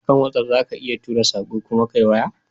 A kan watsaf za ka iya tura sako kuma Ka yi waya